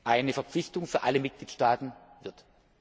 eine Verpflichtung für alle Mitgliedstaaten wird.